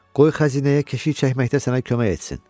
Qoy xəzinəyə keşiy çəkməkdə sənə kömək etsin.